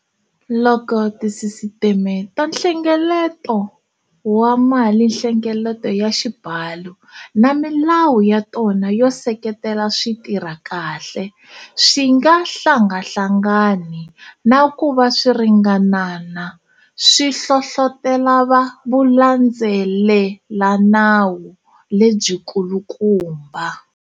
Loko tisisiteme ta nhlengeleto wa malinhlengeleto ya xibalo na milawu ya tona yo seketela swi tirha kahle, swi nga hlangahlanganangi na ku va swi ringanana, swi hlohlotela vulandzelelanawu lebyikulukumba.